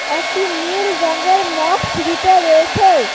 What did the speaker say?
একটি নীল রঙের মগ সিঁড়িতে রয়েছে।